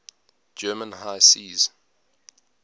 german high seas